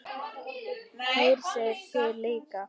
Hersir: Þið líka?